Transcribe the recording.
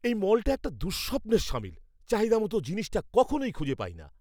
এই মলটা একটা দুঃস্বপ্নের শামিল। চাহিদামতো জিনিসটা কখনোই খুঁজে পাই না।